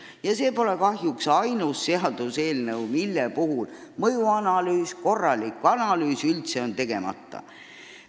Kahjuks pole see ainus seaduseelnõu, mille puhul on mõjuanalüüs, korralik analüüs jäänud üldse tegemata.